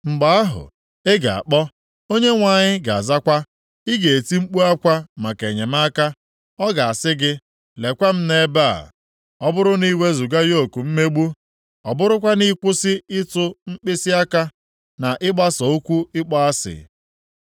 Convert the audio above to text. Mgbe ahụ, ị ga-akpọ, Onyenwe anyị ga-azakwa, ị ga-eti mkpu akwa maka enyemaka, ọ ga-asị gị, Lekwa m nʼebe a. “Ọ bụrụ na ị wezuga yoku mmegbu, ọ bụrụkwa na ịkwụsị ịtụ mkpịsịaka, na ịgbasa okwu ịkpọ asị,